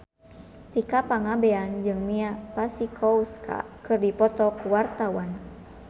Tika Pangabean jeung Mia Masikowska keur dipoto ku wartawan